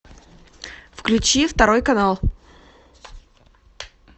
включи второй канал